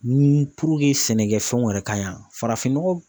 Ni puruke sɛnɛkɛfɛnw yɛrɛ ka ɲan farafinnɔgɔ